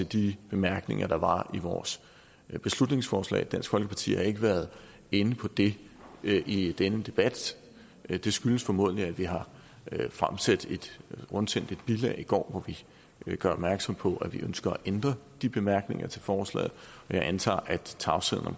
de bemærkninger der var i vores beslutningsforslag dansk folkeparti har ikke været inde på det i denne debat det skyldes formentlig at vi har rundsendt et bilag i går hvor vi gør opmærksom på at vi ønsker at ændre de bemærkninger til forslaget jeg antager at tavsheden om